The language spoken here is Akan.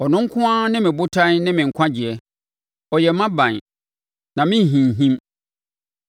Ɔno nko ara ne me botan ne me nkwagyeɛ; ɔyɛ mʼaban, na merenhinhim.